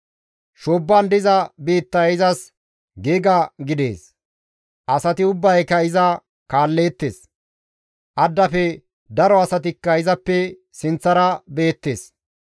Shoobban diza biittay izas giiga gidees; asati ubbayka iza kaalleettes; addafe daro asatikka izappe sinththara beettes.